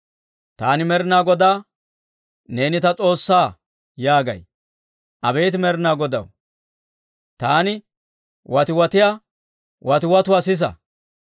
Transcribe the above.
Taani Med'inaa Godaa, «Neeni ta S'oossaa» yaagay. Abeet Med'inaa Godaw, taani watiwatiyaa watiwatuwaa sisa.